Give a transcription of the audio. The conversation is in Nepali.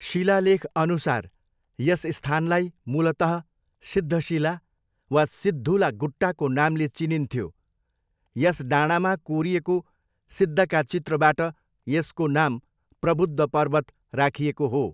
शिलालेखअनुसार यस स्थानलाई मूलतः सिद्धशिला वा सिद्धुला गुट्टाको नामले चिनिन्थ्यो, यस डाँडामा कोरिएको सिद्धका चित्रबाट यसको नाम प्रबुद्ध पर्वत राखिएको हो।